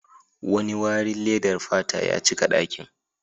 Wani wari ledar fata ya cika dakin.